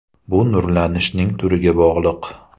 Bu nurlanishning turiga bog‘liq.